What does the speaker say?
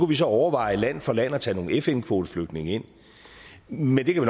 vi så overveje land for land at tage nogle fn kvoteflygtninge ind men det kan